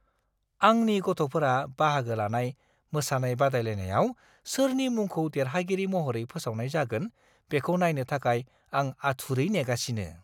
आंनि गथ'फोरा बाहागो लानाय मोसानाय बादायलायनायाव सोरनि मुंखौ देरहागिरि महरै फोसावनाय जागोन, बेखौ नायनो थाखाय आं आथुरै नेगासिनो!